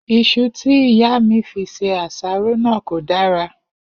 Is̩u tí ìyá mi fi se àsáró náà kò dára